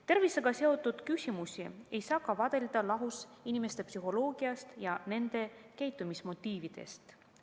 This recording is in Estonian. Tervisega seotud küsimusi ei saa vaadelda lahus inimeste psühholoogiast ja nende käitumismotiividest.